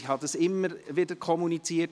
Ich habe immer wieder kommuniziert: